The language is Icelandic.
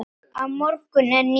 Á morgun er nýr dagur.